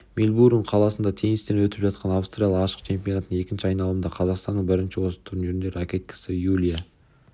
мельбурн қаласында теннистен өтіп жатқан австралия ашық чемпионатының екінші айналымында қазақстанның бірінші осы турнирдің ракеткасы юлия